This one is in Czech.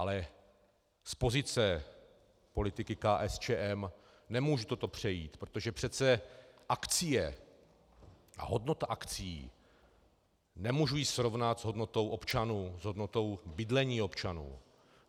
Ale z pozice politiky KSČM nemůžu toto přejít, protože přece akcie a hodnota akcií, nemůžu ji srovnat s hodnotou občanů, s hodnotou bydlení občanů.